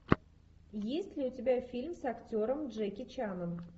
есть ли у тебя фильм с актером джеки чаном